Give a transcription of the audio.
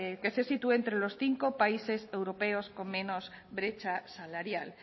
que se sitúe entre los cinco países europeos con menos brecha salarial